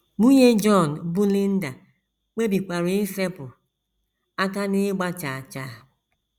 Nwunye John, bụ́ Linda, kpebikwara isepụ aka n’ịgba chaa chaa.